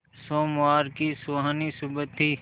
सोमवार की सुहानी सुबह थी